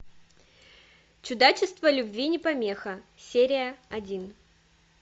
чудачество любви не помеха серия один